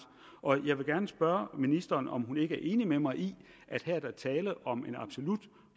jeg vil gerne spørge ministeren om hun ikke er enig med mig i at der er tale om en absolut